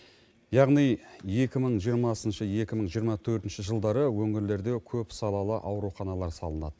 яғни екі мың жиырмасыншы екі мың жиырма төртінші жылдары өңірлерде көпсалалы ауруханалар салынады